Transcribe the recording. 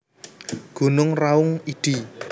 Gunung Raung id